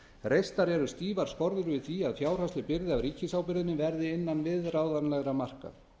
reistar eru stífar skorður gegn því að fjárhagsleg byrði af ríkisábyrgðinni verði utan viðráðanlegra marka